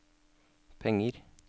penger